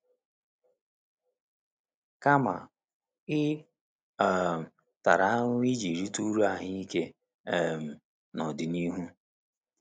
Kama, ị um tara ahụhụ iji rite uru ahụike um n’ọdịnihu.